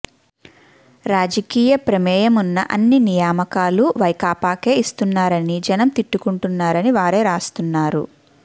రాజకీయ ప్రమేయమున్న అన్ని నియామకాలు వైకాపాకే ఇస్తున్నారని జనం తిట్టుకుంటున్నారని వారే రాస్తున్నారు